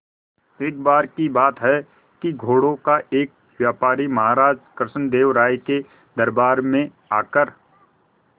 एक बार की बात है कि घोड़ों का एक व्यापारी महाराज कृष्णदेव राय के दरबार में आकर